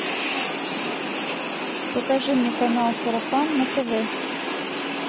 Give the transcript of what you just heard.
покажи мне канал сарафан на тв